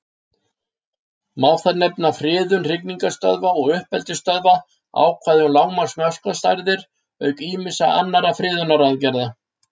Má þar nefna friðun hrygningarstöðva og uppeldisstöðva, ákvæði um lágmarksmöskvastærðir, auk ýmissa annarra friðunaraðgerða.